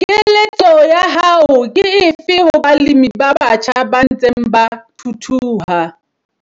Keletso ya hao ke efe ho balemi ba batjha ba ntseng ba thuthuha?